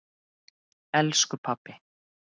Elsku pabbi.